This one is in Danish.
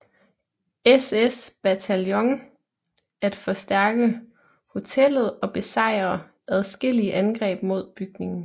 SS bataljon at forstærke hotellet og besejre adskillige angreb mod bygningen